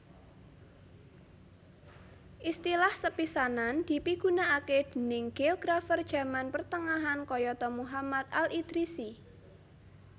Istilah sepisanan dipigunakaké déning géografer jaman pertengahan kayata Muhammad al Idrisi